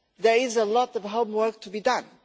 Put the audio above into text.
There is a lot of hard work to be done.